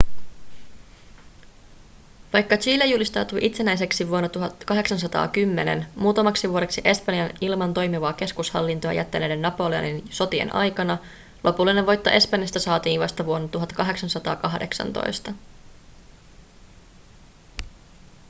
vaikka chile julistautui itsenäiseksi vuonna 1810 muutamaksi vuodeksi espanjan ilman toimivaa keskushallintoa jättäneiden napoleonin sotien aikana lopullinen voitto espanjasta saatiin vasta vuonna 1818